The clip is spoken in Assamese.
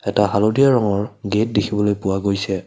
এটা হালধীয়া ৰঙৰ গেট দেখিবলৈ পোৱা গৈছে।